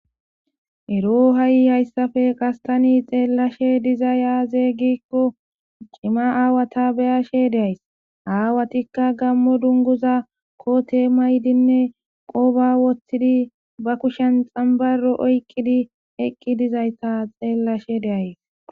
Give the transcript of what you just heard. Ero ha7i hayssafe qastani xeellashe diza yaazeeygikko cima aawata beyashe deays aawatikka gammo dunguza kote maydinne qooba woththidi ba kushen xambaro oyqqidi eqqi dizayta xeellashe de7ays.